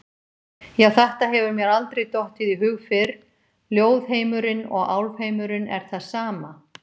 Já, þetta hefur mér aldrei dottið í hug fyrr, ljóðheimurinn og álfheimurinn er það sama!